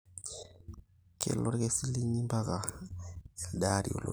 kelo olkesi linji mpaka elde aari olotu